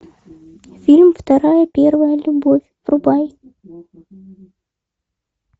фильм вторая первая любовь врубай